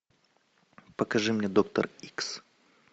покажи мне доктор икс